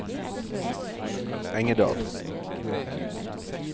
Engerdal